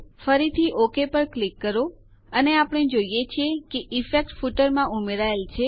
ફરીથી ઓક પર ક્લિક કરો અને આપણે જોઈએ છીએ કે ઈફેક્ટ અસર ફૂટરમાં ઉમેરાયેલ છે